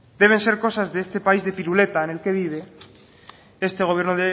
deben ser cosas de este país de piruleta en el que vive este gobierno